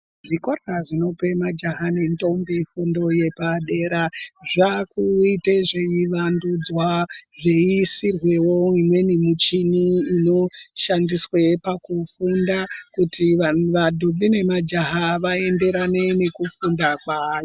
Zvikora zvinope majaha nendombi fundo yepadera zvakuite zveivandudzwa zveisirwewo imweni michini inoshandiswe pakufunda kuti va mandombi nemajaha vaenderane nekufunda kwaana...